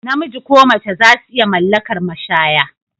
Namiji ko mace zasu iya mallakar mashaya